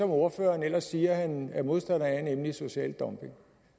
ordføreren ellers siger at han er modstander af nemlig social dumping